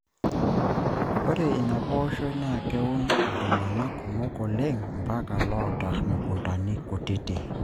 Ore ina pooshoi naa keun iltung'ana kumok oleng mpaka loota mukuntani kutiti.